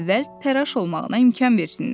əvvəl təraş olmağına imkan versinlər.